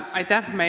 Aitäh!